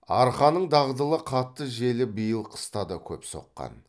арқаның дағдылы қатты желі биыл қыста да көп соққан